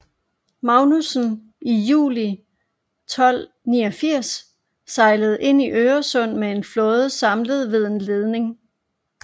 Magnusson i juli 1289 sejlede ind i Øresund med en flåde samlet ved en leding